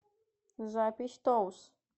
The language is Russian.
запись тоус